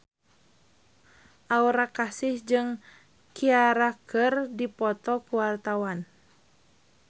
Aura Kasih jeung Ciara keur dipoto ku wartawan